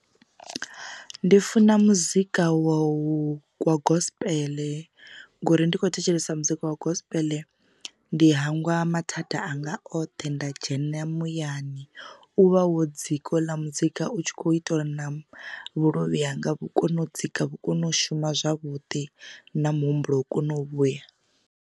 Ndi funa muzika wa gospel ngori ndikho thetshelesa muzika wa gospel ndi hangwa mathada anga oṱhe nda dzhena muyani, u vha wo dzika ho u ḽa muzika u tshi kho ita uri na vhuluvhi hanga vhu kono u dzika vhu kone u shuma zwavhuḓi na muhumbulo u kone u vhuya.